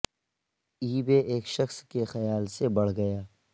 ای بے ایک شخص کے خیال سے بڑھ گیا